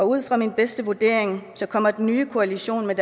ud fra min bedste vurdering kommer den nye koalition med